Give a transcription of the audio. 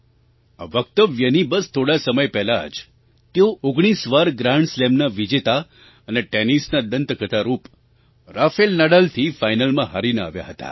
આ વક્તવ્યની બસ થોડા સમય પહેલાં જ તેઓ 19 વાર ગ્રાન્ડ સ્લેમના વિજેતા અને ટૅનિસના દંતકથારૂપ રાફેલ નાડાલથી ફાઇનલમાં હારીને આવ્યા હતા